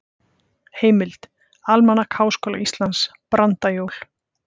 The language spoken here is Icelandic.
Heimild: Almanak Háskóla Íslands- Brandajól.